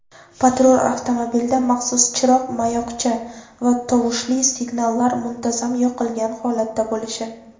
patrul avtomobilida maxsus chiroq-mayoqcha va tovushli signallar muntazam yoqilgan holatda bo‘lishi;.